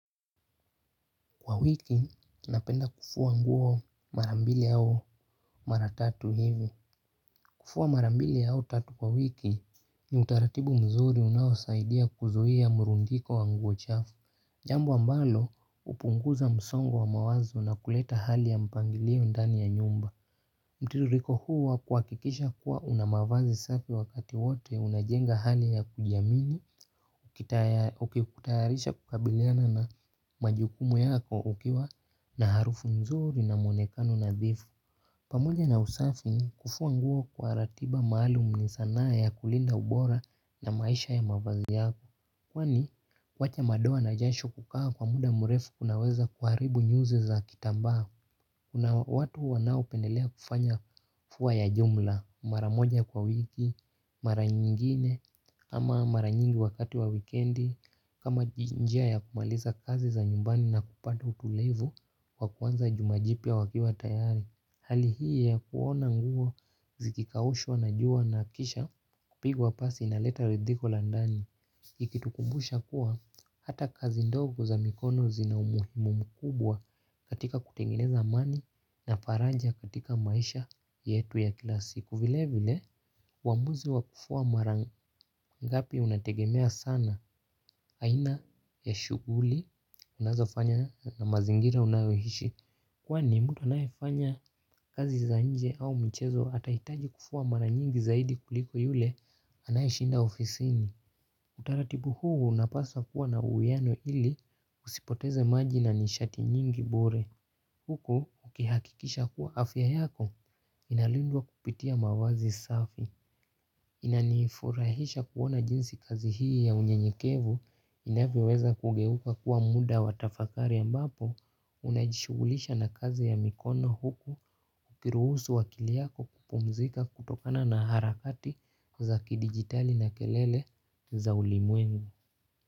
Kwa wiki, napenda kufua nguo mara mbili au mara tatu hivi. Kufua mara mbili au tatu kwa wiki, ni utaratibu mzuri unaosaidia kuzuhia murundiko wa nguo chafu. Jambo ambalo, upunguza msongo wa mawazo na kuleta hali ya mpangilio ndani ya nyumba. Mtiririko huu wa kuakikisha kuwa unamavazi safi wakati wote, unajenga hali ya kujamini, ukitayarisha kukabiliana na majukumu yako ukiwa na harufu nzuri na mwonekano nadhifu. Pamoja na usafi kufua nguo kwa ratiba maalum ni sanaa ya kulinda ubora ya maisha ya mavazi yako. Kwani wacha madoa na jasho kukaa kwa muda murefu kunaweza kuharibu nyuzi za kitambaa. Kuna watu wanao pendelea kufanya fua ya jumla. Mara moja kwa wiki, mara nyingine, ama mara nyingi wakati wa wikendi, kama njia ya kumaliza kazi za nyumbani na kupata utulivu wa kuanza juma jipya wakiwa tayari. Hali hii ya kuona nguo zikikaushwa na jua na kisha kupigwa pasi inaleta ridhiko la ndani. Ikitukumbusha kuwa hata kazi ndogo za mikono zina umuhimu mkubwa katika kutengeneza amani na faraja katika maisha yetu ya kila siku vile vile uamuzi wa kufua mara ngapi unategemea sana aina ya shuguli unazofanya na mazingira unayohishi. Kwani mtu anayefanya kazi za nje au mchezo atahitaji kufua mara nyingi zaidi kuliko yule anayeshinda ofisini. Utaratibu huu unapasa kuwa na uwiano ili usipoteze maji na nishati nyingi bure. Huku ukihakikisha kuwa afya yako inalindwa kupitia mawazi safi inaniifurahisha kuona jinsi kazi hii ya unyenyekevu inavyoweza kugeuka kuwa muda wa tafakari ambapo unajishugulisha na kazi ya mikono huku ukiruhusu akili yako kupumzika kutokana na harakati za kidigitali na kelele za ulimwengu.